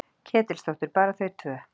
Ketilsdóttur. bara þau tvö?